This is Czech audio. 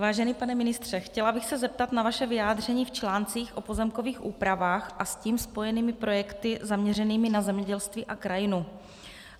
Vážený pane ministře, chtěla bych se zeptat na vaše vyjádření v článcích o pozemkových úpravách a s tím spojených projektech zaměřených na zemědělství a krajinu.